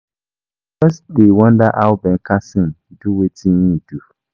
I just dey wonder how Ben Carson do wetin he do